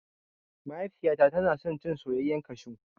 Mahaifiyata tana son cin soyayyan kashu